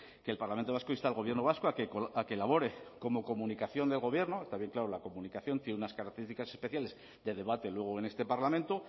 que el parlamento vasco insta al gobierno vasco a que elabore como comunicación de gobierno está bien claro la comunicación tiene unas características especiales de debate luego en este parlamento